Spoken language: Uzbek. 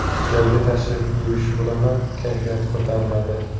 Joyga tashrif buyurishi bilanoq kayfiyati ko‘tariladi.